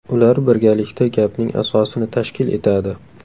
Ular birgalikda gapning asosini tashkil etadi.